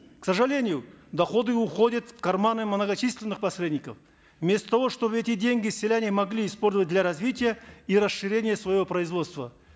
к сожалению доходы уходят в карманы многочисленных посредников вместо того чтобы эти деньги селяне могли использовать для развития и расширения своего производства